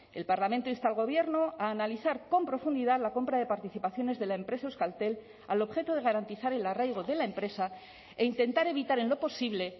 el parlamento insta al gobierno a analizar con profundidad la compra de participaciones de la empresa euskaltel al objeto de garantizar el arraigo de la empresa e intentar evitar en lo posible